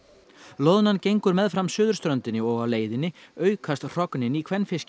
loðnan gengur meðfram suðurströndinni og á leiðinni aukast hrognin í